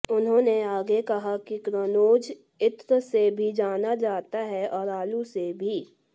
उन्होंने आगे कहा कि कन्नौज इत्र से भी जाना जाता है और आलू से भी